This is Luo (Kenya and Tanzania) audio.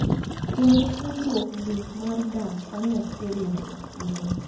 Kendo singruokgi mar dak kanyachiel nyaka chieng’.